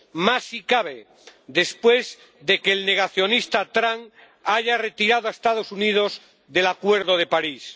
Más, si cabe, después de que el negacionista Trump haya retirado a los Estados Unidos del Acuerdo de París.